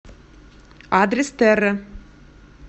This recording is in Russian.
адрес терра